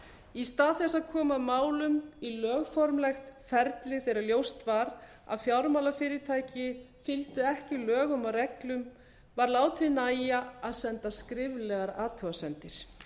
í stað þess að koma málum í lögformlegt ferli þegar ljóst var að fjármálafyrirtæki fylgdu ekki lögum og reglum var látið nægja að senda skriflegar athugasemdir